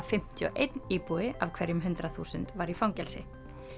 fimmtíu og einn íbúi af hverjum hundrað þúsund var í fangelsi